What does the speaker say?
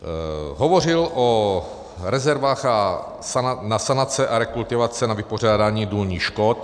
Hovořil o rezervách na sanace a rekultivace na vypořádání důlních škod.